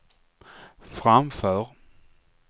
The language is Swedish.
framför